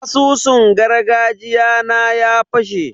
Asusun gargajiya na ya fashe.